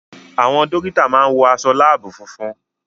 Àwọn dọ́kítà máa ń wọ aṣọ láàbù funfun.